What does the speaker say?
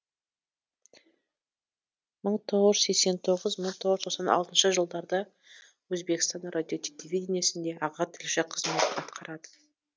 мың тоғыз жүз сексен тоғыз мың тоғыз жүз тоқсан алтыншы жылдарда өзбекстан радиотелевидениесінде аға тілші қызметін атқарады